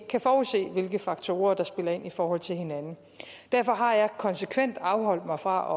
kan forudse hvilke faktorer der spiller ind i forhold til hinanden derfor har jeg konsekvent afholdt mig fra